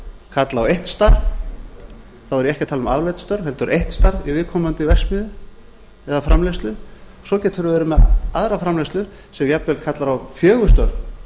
kalla á eitt starf þá er ég ekki að tala um afleidd störf heldur eitt starf í viðkomandi verksmiðju eða framleiðslu og svo getum við verið með aðra framleiðslu sem jafnvel kallar á fjögur störf